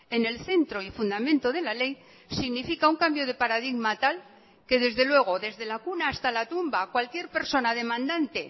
en el centro y fundamento de la ley significa un cambio de paradigma tal que desde luego desde la cuna hasta la tumba cualquier persona demandante